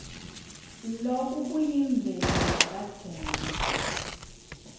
loku kuyimvelo yakadzeni